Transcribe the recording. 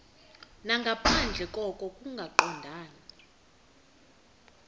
nangaphandle koko kungaqondani